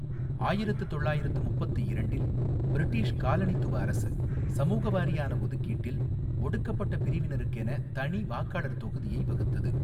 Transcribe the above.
ஆயிரத்து தொள்ளாயிரத்து முப்பத்து இரண்டில் பிரிட்டிஷ் காலனித்துவ அரசு சமூக வாரியான ஒதுக்கீட்டில் "ஒடுக்கப்பட்ட பிரிவினருக்கெனத் தனி வாக்காளர் தொகுதியை வகுத்தது.